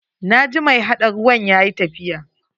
Na ji mai haɗa ruwan yayi tafiya.